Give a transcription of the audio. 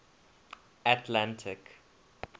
atlantic